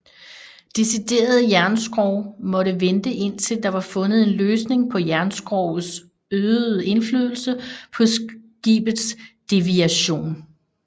Deciderede jernskrog måtte vente indtil der var fundet en løsning på jernskrogets øgede indflydelse på skibets deviation